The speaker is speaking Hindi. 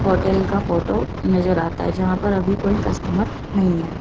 होटल का फोटो नजर आता है जहां पर अभी कोई कस्टमर नहीं है।